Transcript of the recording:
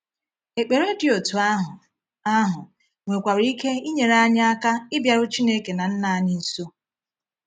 Ekpere dị otú ahụ ahụ nwekwara ike inyere anyị aka ịbịaru Chineke na Nna anyị nso.